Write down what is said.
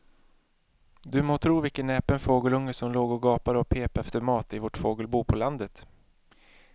Du må tro vilken näpen fågelunge som låg och gapade och pep efter mat i vårt fågelbo på landet.